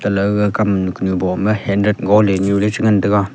gale kam nu bo ma hanrat ga le nu ley che ngan tai ga.